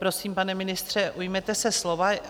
Prosím, pane ministře, ujměte se slova.